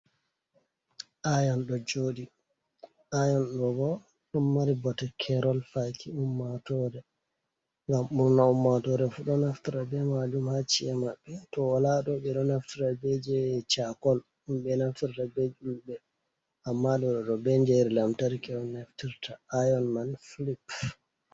"Aayon" ɗo jooɗi, "Aayon" ɗoo bo ɗon mari bote keerol faaki to ummaatore. Ngam ɓurna ummaatoore fu ɗo naftara bee majum ha ci'e maɓɓe. To walaa ɗoo ɓe ɗo naftara bee jey "caakol" ɗum ɓe naftirta bee ƴulɓe, ammaa ɗoo ɗon naftira bee njeyri lantarki on naftirta, "Aayon" man "filip".